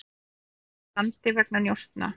Vísað úr landi vegna njósna